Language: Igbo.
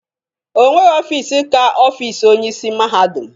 Onweghi ofiisi ka ofiisi Onyeisi mahadum.